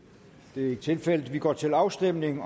det er ikke tilfældet og vi går til afstemning